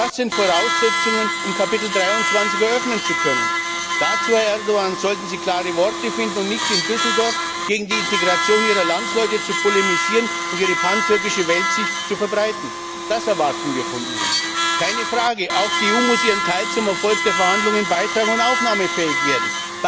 Auch das sind Voraussetzungen, um Kapitel 23 eröffnen zu können. Dazu, Herr Erdoğan, sollten Sie klare Worte finden und nicht wie in Düsseldorf gegen die Integration Ihrer Landsleute polemisieren und Ihre pantürkische Weltsicht verbreiten! Das erwarten wir von Ihnen! Keine Frage, auch die EU muss ihren Teil zum Erfolg der Verhandlungen beitragen und aufnahmefähig werden.